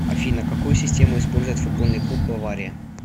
афина какую систему использует футбольный клуб бавария